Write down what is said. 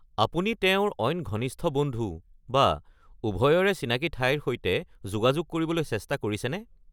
আপুনি তেওঁৰ অইন ঘনিষ্ঠ বন্ধু বা উভয়ৰে চিনাকি ঠাইৰ সৈতে যোগাযোগ কৰিবলৈ চেষ্টা কৰিছেনে?